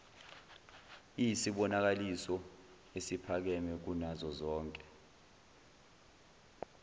iyisibonakaliso esiphakeme kunazozonke